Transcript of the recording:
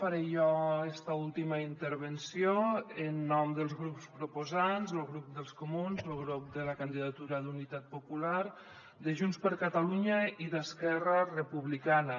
faré jo esta última intervenció en nom dels grups proposants lo grup dels comuns lo grup de la candidatura d’unitat popular de junts per catalunya i d’esquerra republicana